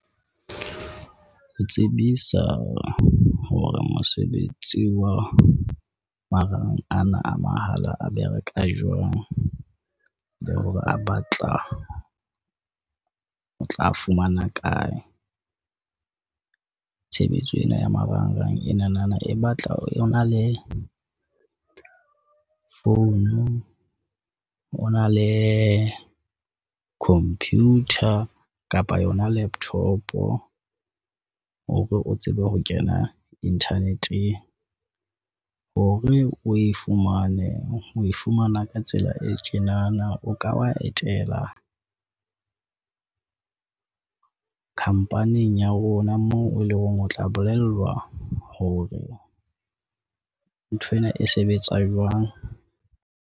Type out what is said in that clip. Ke tsebisa hore mosebetsi wa marang ana a mahala a bereka jwang, le hore a batla o tla fumana kae. Tshebetso ena ya marangrang enanana e batla o na le founu, o na le computer kapa yona laptop hore o tsebe ho kena internet. Hore o e fumane o e fumana. Ka tsela e tjenana o ka wa etela khampaning ya rona moo o leng hore o tla bolellwa hore nthwena e sebetsa jwang.